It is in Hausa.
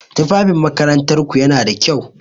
Tufafin makarantar ku yana da kyau?